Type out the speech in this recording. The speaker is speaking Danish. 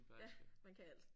Ja man kan alt